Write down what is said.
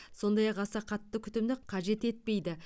сондай ақ аса қатты күтімді қажет етпейді